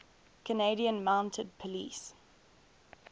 canadian mounted police